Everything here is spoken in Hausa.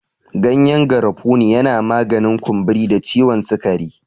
Gyanyen garafuni yana maganin kumburi da ciwon sikari.